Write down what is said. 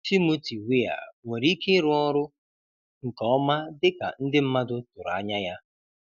Timothy Weah nwere ike ịrụ ọrụ nke ọma dịka ndị mmadụ tụrụ anya ya?